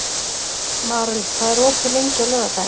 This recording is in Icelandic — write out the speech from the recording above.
Marel, hvað er opið lengi á laugardaginn?